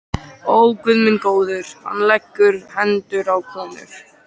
Ó, Guð minn góður, hann leggur hendur á konur.